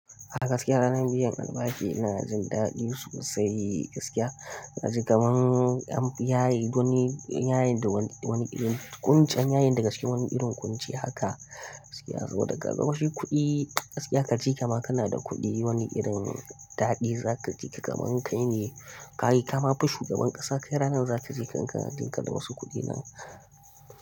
Kaga gaskiya ranar biyan albashi yana jin daɗi sosai gaskiya. Naji kaman an yayi wani, yayi da wani wani irin kunce, an yaye ni daga cikin wani irin kunci haka gaskiya. Saboda kaga shi kuɗi, gaskiya ka ce kaima kana da kuɗi wani irin daɗi za ka ji, ka kaman kai ne, ka yi kama fi shugaban ƙasa, kai ranar za ka ji kanka dun ka da wasu kuɗi nan.